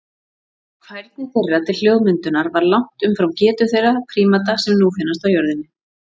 Færni þeirra til hljóðmyndunar var langt umfram getu þeirra prímata sem nú finnast á jörðinni.